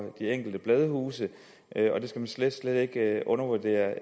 de enkelte bladhuse og det skal man slet slet ikke undervurdere